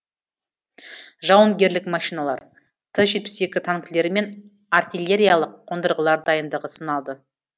жауынгерлік машиналар т жетпіс екі танкілері мен артиллериялық қондырғылар дайындығы сыналды